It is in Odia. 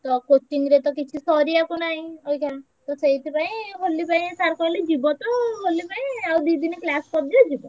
ସେଇଆ coaching ରେ ତ କିଛି ସରିବାକୁ ନାହିଁ ଆଇକ୍ଷ ତ ସେଇଥି ପାଇଁ sir କହିଲେ ହୋଲି ପାଇଁ ଯିବ ତ ହୋଲି ପାଇଁ ଆଉ ଦି ଦିନ class କରିଦିଅ।